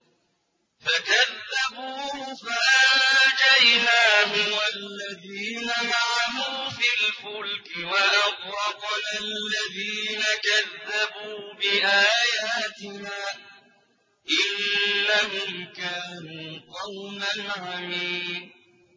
فَكَذَّبُوهُ فَأَنجَيْنَاهُ وَالَّذِينَ مَعَهُ فِي الْفُلْكِ وَأَغْرَقْنَا الَّذِينَ كَذَّبُوا بِآيَاتِنَا ۚ إِنَّهُمْ كَانُوا قَوْمًا عَمِينَ